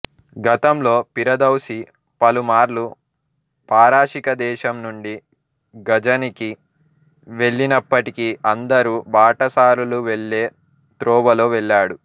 గతంలో పిరదౌసి పలు మార్లు పారశీకదేశం నుండి గజనికి వెళ్ళినప్పటికి అందరు బాటసారులు వెళ్లె త్రోవలో వెళ్ళాడు